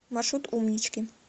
маршрут умнички